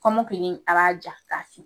Kɔmɔkili a ba ja ka taa fɛ.